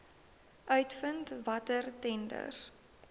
uitvind watter tenders